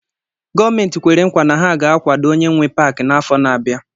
Gọọmentị kwere nkwa na ha ga-akwado onye nwe Pááki n'afọ na-abịa